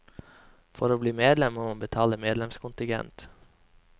For å bli medlem, må man betale medlemskontigent.